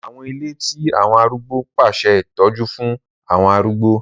Àwọn ìle ti àwọn àrúgbó n pese itọju fun awọn arúgbó.